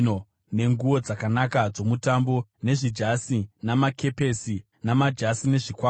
nenguo dzakanaka dzomutambo, nezvijasi, namakepesi namajasi nezvikwama,